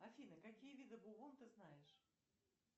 афина какие виды бубон ты знаешь